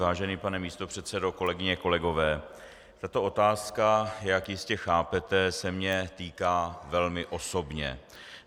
Vážený pane místopředsedo, kolegyně, kolegové, tato otázka, jak jistě chápete, se mě týká velmi osobně.